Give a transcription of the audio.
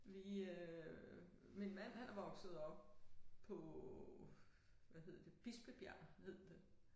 Vi øh min mand han er vokset op på hvad hed det Bispebjerg hed det